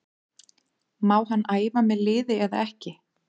Má hann æfa með liði eða ekki?